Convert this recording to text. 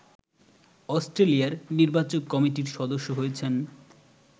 অস্ট্রেলিয়ার নির্বাচক কমিটির সদস্য হয়েছেন